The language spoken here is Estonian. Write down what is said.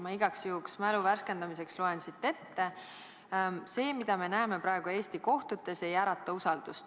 Ma igaks juhuks loen selle mälu värskendamiseks ette: "See, mida me näeme praegu Eesti kohtutes, ei ärata usaldust.